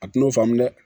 A tun'o faamu dɛ